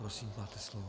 Prosím, máte slovo.